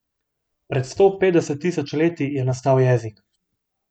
Pred sto petdeset tisoč leti je nastal jezik.